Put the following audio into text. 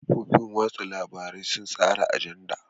Kafofin watsa labarai sun tsara ajanda.